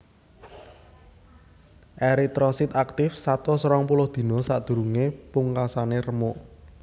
Eritrosit aktif satus rong puluh dina sadurungé pungkasane remuk